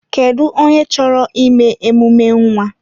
Kedụ onye chọrọ ime emume nwa?